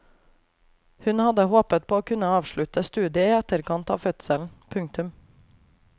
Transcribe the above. Hun hadde håpet på å kunne avslutte studiet i etterkant av fødselen. punktum